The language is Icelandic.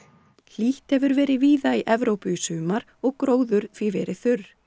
hlýtt hefur verið víða í Evrópu í sumar og gróður því verið þurr